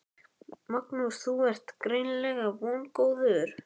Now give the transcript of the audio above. Magnús: Þú ert greinilega vongóður?